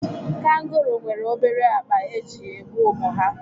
Kangaroo nwere obere akpa eji ebu ụmụ ha